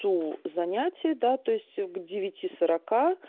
ту занятие да то есть к девяти сорока